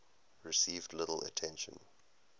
received little attention